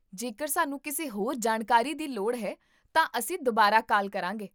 ਜੇਕਰ ਸਾਨੂੰ ਕਿਸੇ ਹੋਰ ਜਾਣਕਾਰੀ ਦੀ ਲੋੜ ਹੈ, ਤਾਂ ਅਸੀਂ ਦੁਬਾਰਾ ਕਾਲ ਕਰਾਂਗੇ